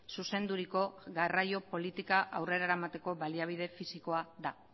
zuzenduriko garraio politika aurrera eramateko baliabide fisikoa da